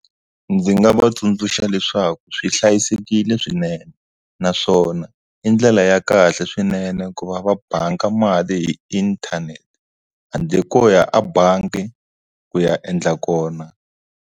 Ndzi nga va tsundzuxa leswaku swi hlayisekile swinene naswona i ndlela ya kahle swinene ku va va bangi mali hi inthanete handle ko ya a bangi ku ya endla kona.